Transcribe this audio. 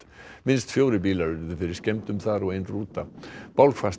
minnst fjórir bílar urðu fyrir skemmdum þar og ein rúta